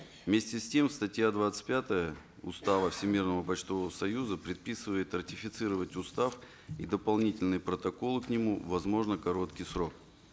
вместе с тем статья двадцать пятая устава всемирного почтового союза предписывает ратифицировать устав и дополнительные протоколы к нему в возможно короткий срок